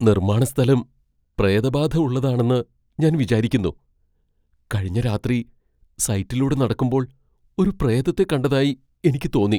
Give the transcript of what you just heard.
നിർമ്മാണ സ്ഥലം പ്രേതബാധ ഉള്ളതാണെന്ന് ഞാൻ വിചാരിക്കുന്നു. കഴിഞ്ഞ രാത്രി സൈറ്റിലൂടെ നടക്കുമ്പോൾ ഒരു പ്രേതത്തെ കണ്ടതായി എനിക്ക് തോന്നി .